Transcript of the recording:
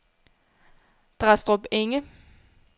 Drastrup Enge